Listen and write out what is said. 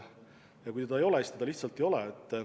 Ja kui seda ei ole, siis seda lihtsalt ei ole.